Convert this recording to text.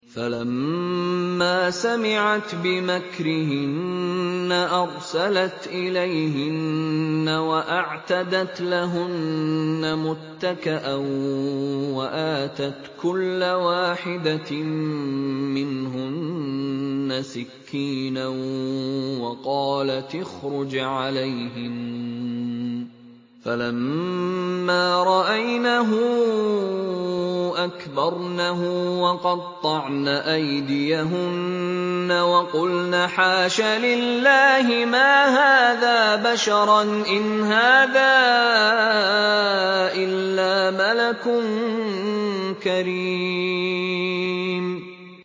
فَلَمَّا سَمِعَتْ بِمَكْرِهِنَّ أَرْسَلَتْ إِلَيْهِنَّ وَأَعْتَدَتْ لَهُنَّ مُتَّكَأً وَآتَتْ كُلَّ وَاحِدَةٍ مِّنْهُنَّ سِكِّينًا وَقَالَتِ اخْرُجْ عَلَيْهِنَّ ۖ فَلَمَّا رَأَيْنَهُ أَكْبَرْنَهُ وَقَطَّعْنَ أَيْدِيَهُنَّ وَقُلْنَ حَاشَ لِلَّهِ مَا هَٰذَا بَشَرًا إِنْ هَٰذَا إِلَّا مَلَكٌ كَرِيمٌ